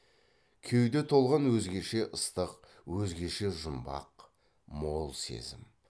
кеуде толған өзгеше ыстық өзгеше жұмбақ мол сезім